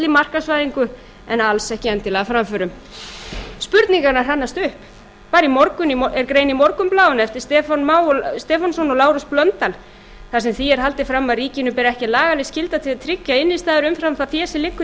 markaðsvæðingu en alls ekki endilega framförum spurningarnar hrannast upp bara í morgun er grein í morgunblaðinu eftir stefán má stefánsson og lárus blöndal þar sem því er haldið fram að ríkinu beri ekki lagaleg skylda til að tryggja innistæður umfram það fé sem liggur í